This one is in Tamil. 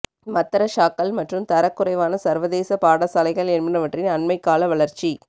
மத்ரஸாக்கள் மற்றும் தரக் குறைவான சர்வதேச பாடசாலைகள் என்பவற்றின் அண்மைக்கால வளர்ச்சி